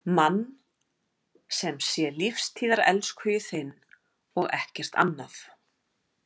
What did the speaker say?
Mann sem sé lífstíðarelskhugi þinn og ekkert annað.